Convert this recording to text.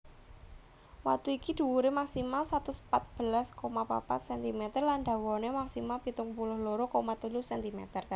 Watu iki dhuwuré maksimal satus pat belas koma papat centimeter lan dawané maksimal pitung puluh loro koma telu centimeter